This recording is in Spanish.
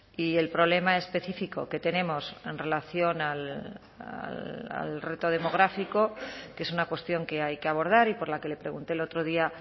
y el problema específico que tenemos en relación al reto demográfico que es una cuestión que hay que abordar y por la que le pregunté el otro día